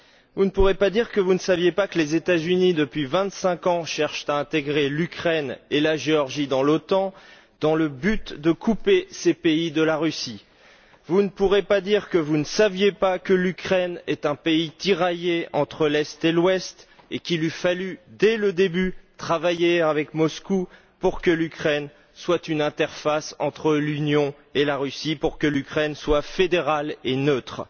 Vous ne pourrez pas dire que vous ne saviez pas que, depuis vingt cinq ans, les États Unis cherchent à intégrer l'Ukraine et la Géorgie dans l'OTAN dans le but de couper ces pays de la Russie. Vous ne pourrez pas dire que vous ne saviez pas que l'Ukraine est un pays tiraillé entre l'Est et l'Ouest et qu'il eût fallu dès le début travailler avec Moscou pour que l'Ukraine soit une interface entre l'Union et la Russie, pour que l'Ukraine soit fédérale et neutre.